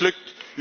U bent mislukt.